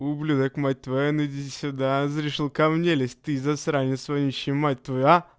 ублюдок мать твою а ну иди сюда решил ко мне лезть ты засранец вонючий мать твою а